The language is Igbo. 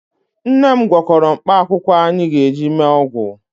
Nne m gwọkọrọ mkpaakwụkwọ anyị ga-eji mee ọgwụ